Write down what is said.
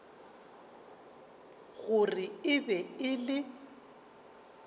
gore e be e le